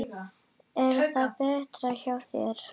Er þetta betra hjá þér?